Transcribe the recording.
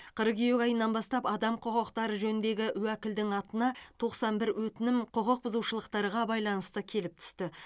қыркүйек айынан бастап адам құқықтары жөніндегі уәкілдің атына тоқсан бір өтінім құқықбұзушылықтарға байланысты келіп түсті